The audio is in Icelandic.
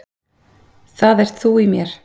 Það ert þú í mér.